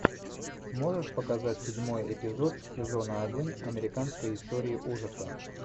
можешь показать седьмой эпизод сезона один американская история ужасов